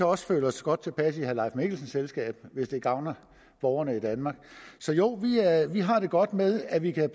også føle os godt tilpas i herre leif mikkelsens selskab hvis det gavner borgerne i danmark så jo vi har det godt med at vi kan